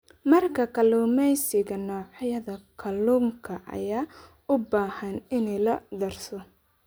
Marka kalluumeysiga, noocyada kalluunka ayaa u baahan in la darso.